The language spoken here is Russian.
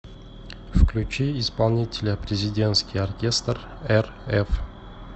включи исполнителя президентский оркестр рф